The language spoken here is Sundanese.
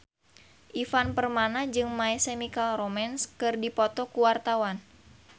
Ivan Permana jeung My Chemical Romance keur dipoto ku wartawan